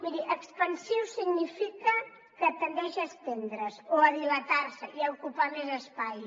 miri expansiu significa que tendeix a estendre’s o a dilatar se i a ocupar més espai